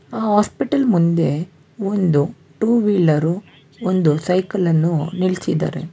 Hospital ಮುಂದೆ ಒಂದು two wheeler ಒಂದು ಸೈಕಲ್ ಅನ್ನು ನಿಲ್ಲಿಸಿದಾರೆ.